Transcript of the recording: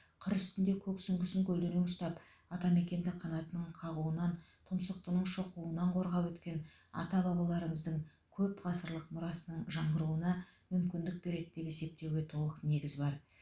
қыр үстінде көк сүңгісін көлденең ұстап атамекенді қанаттының қағуынан тұмсықтының шоқуынан қорғап өткен ата бабаларымыздың көп ғасырлық мұрасының жаңғыруына мүмкіндік береді деп есептеуге толық негіз бар